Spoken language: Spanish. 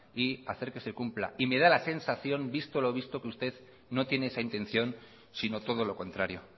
y hacer que se cumpla y me da la sensación que visto lo visto que usted no tiene esa intención sino todo lo contrario